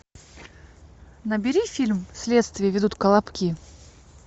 набери фильм следствие ведут колобки